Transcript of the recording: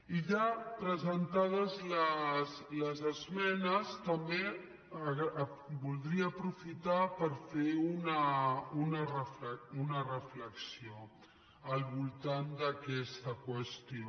i ja presentades les esmenes també voldria aprofitar per fer una reflexió al voltant d’aquesta qüestió